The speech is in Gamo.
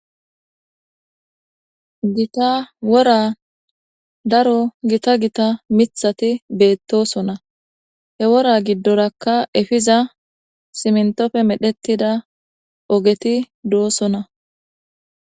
gita wora daro gita gita mithati beettosona he wora giddorakka efiza simntofe medhettida ogeti doosona